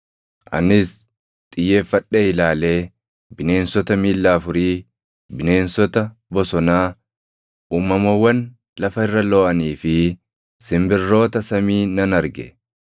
Anis xiyyeeffadhee ilaalee bineensota miilla afurii, bineensota bosonaa, uumamawwan lafa irra looʼanii fi simbirroota samii nan arge.